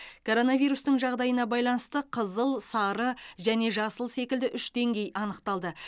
коронавирустың жағдайына байланысты қызыл сары және жасыл секілді үш деңгей анықталды